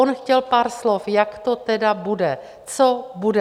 On chtěl pár slov, jak to tedy bude, co bude.